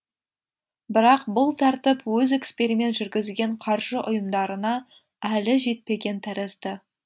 бірақ бұл тәртіп өз эксперимент жүргізген қаржы ұйымдарына әлі жетпеген тәрізді